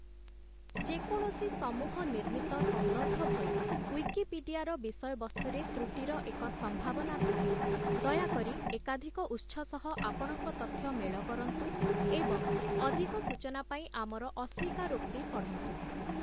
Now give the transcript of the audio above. ଯେକୌଣସି ସମୂହ-ନିର୍ମିତ ସନ୍ଦର୍ଭ ଭଳି, ଉଇକିପିଡିଆର ବିଷୟବସ୍ତୁରେ ତ୍ରୁଟିର ଏକ ସମ୍ଭାବନା ଥାଏ, ଦୟାକରି ଏକାଧିକ ଉତ୍ସ ସହ ଆପଣଙ୍କ ତଥ୍ୟ ମେଳ କରନ୍ତୁ ଏବଂ ଅଧିକ ସୂଚନା ପାଇଁ ଆମର ଅସ୍ୱୀକାରୋକ୍ତି ପଢ଼ନ୍ତୁ ।